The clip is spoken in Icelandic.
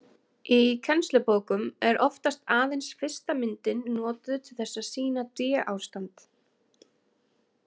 Í kennslubókum er oft aðeins fyrsta myndin notuð til þess að sýna d-ástand.